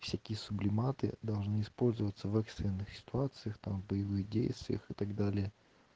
всякие сублиматы должны использоваться в экстренных ситуациях там в боевых действиях и так далее